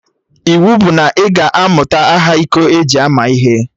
Iwu bụ na ị ga-amụta aha iko eji ama ihe!